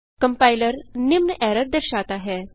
compiler निम्न error दर्शाता है